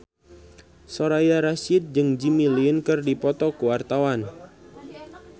Soraya Rasyid jeung Jimmy Lin keur dipoto ku wartawan